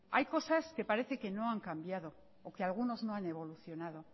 hay cosas que parece que no han cambiado o que algunos no han evolucionado